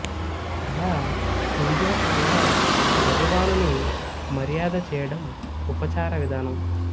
అలా పూజా పరంగా భగవానుని మర్యాద చేయడం ఉపచార విధానం